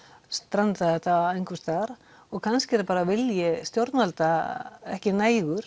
strandaði þetta einhvers staðar og kannski er það bara vilji stjórnvalda ekki nægur